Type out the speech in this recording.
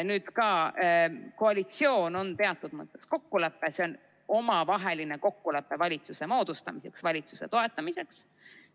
Nüüd, ka koalitsioon on teatud kokkulepe, see on omavaheline kokkulepe valitsuse moodustamiseks, valitsuse toetamiseks.